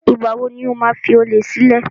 Ìgbà wo ni o máa fi olè sílẹ̀?